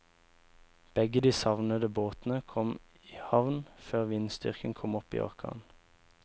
Begge de savnede båtene kom i havn før vindstyrken kom opp i orkan.